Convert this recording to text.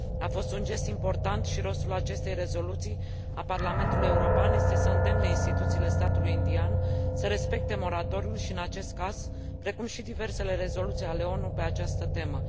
A fost un gest important și rostul acestei rezoluții a Parlamentului European este să îndemne instituțiile statului indian să respecte moratoriul și în acest caz, precum și diversele rezoluții ale ONU pe această temă.